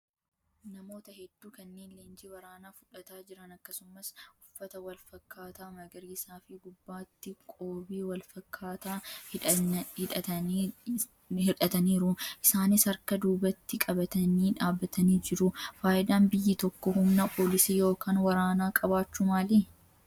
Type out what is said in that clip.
Namoota hedduu kanneen leenjii waraanaa fudhataa jiran akkasumas uffata wal fakkaataa magariisaa fi gubbaatti qoobii wal fakkaataa hidhataniiru. Isaanis harka duubatti qabatanii dhaabbatanii jiru. Fayidaan biyyi tokko humna poolisii yookaan waraanaa qabaachuu maali?